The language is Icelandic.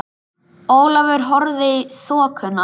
Ólafur horfði í þokuna.